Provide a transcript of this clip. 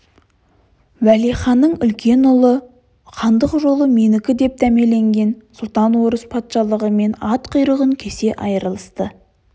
уәлиханның үлкен ұлы хандық жолы менікі деп дәмеленген сұлтан орыс патшалығымен ат құйрығын кесе айрылысты